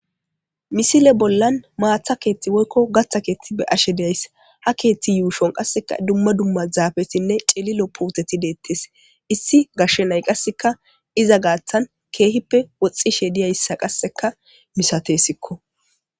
Missile bolan mata kethi woyko gatha kethi be'ashe days ha kethi yushon qaseka duma duma zafetinne c'ililo puteti detes issi gashe nay qaseka iza gatan kehipe woxishe diyaysa qaseka misatesiko.